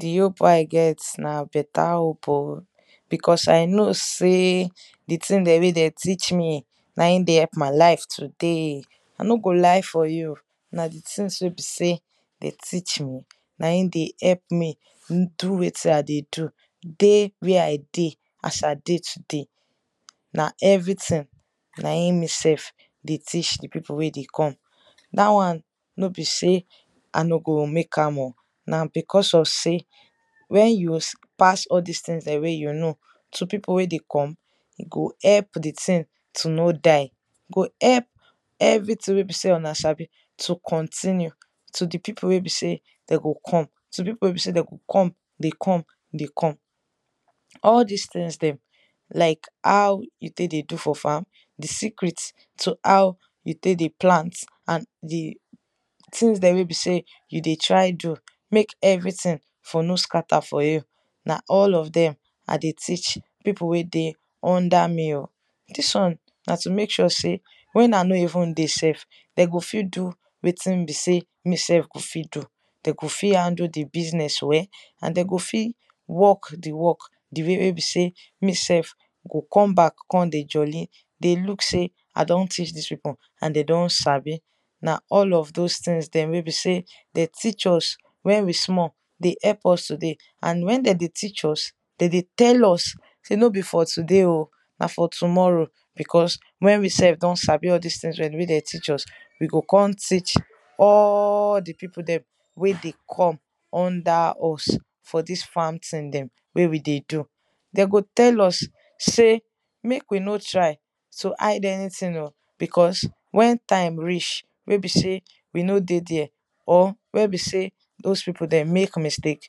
di hope wey i get na beta hope oh because i know sey di thing wey den teach me na in dey help my life today i no go lie for you na di thing wey be sey den eac me na in dey help m dey do wetin i dey do. dey where i dey as i dey today. na every thing na in me self dey teach di pipu wey dey come dat wan no be sey i no go mek am o, na because of sey en you pass dem di pipu wey dey come, e go help di thing to no die. e go help everything wey be sey una sabi to continue to di pipu wey be sey de go come to di pipu wey be sey dey go come dey come dey come. all dis things dem like how you tek dey do for farm, di secrete like how you tek dey plant things dem wey be sey you dey try do mek everything for no scatter for you na all of dem i dey teach pipu wey dey under me oh. dis won na to mek sure sey wen i no dey, de go fit do wetin me sef i go fit do de go fit handle di business and de go fit work di work di way wey be sey me self go come back come dey jolli dey look sey i don teach dis pipu and de don sbi na all of those things dem wey be sey de teach us wen we small dey help us to dey and wen de teach us, de dey tell us shey no be for today oh na for tomorrow because wen we sef don sabi di things wen den teach us, we go kon teach all di pipu dem wey dey come under us for dis farm thing dem wey we dey do. dem go tell us sey mek we no try to hide anything o because wen time reach wey be sey we no dey there or wey be sey those pipu dem mek mistake,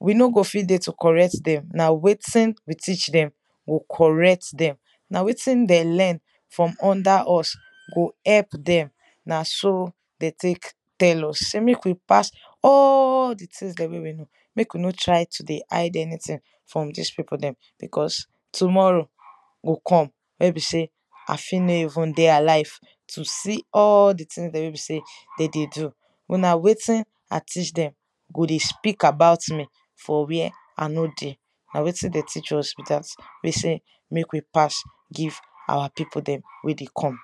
we no go fit to correct dem na wetin we teach dem go correct dem na wetin dem learn from under us go help dem na so de tek tell us sey mek we pass all di things dem wey we kow mek we no try to dey hid anything from dis pipu dem cause tomorrow go come wey be sey i fit no even dey alive to see all di tingsdem wey de dey do but na wetin i teach dem go dey speak about me for where i no dey. na wetin de teeach us be dat sey mek we pass give our pipu dem wey dey come.